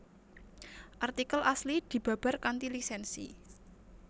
Artikel asli dibabar kanthi lisènsi